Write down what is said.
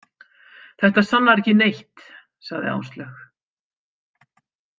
Þetta sannar ekki neitt, sagði Áslaug.